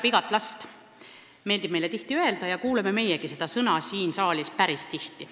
Meile meeldib tihti öelda, et Eesti vajab igat last, ja kuuleme meiegi seda siin saalis päris tihti.